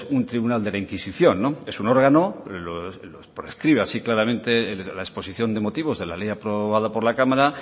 un tribunal de la inquisición es un órgano lo prescribe así claramente la exposición de motivos de la ley aprobada por la cámara